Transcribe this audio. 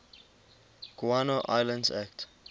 guano islands act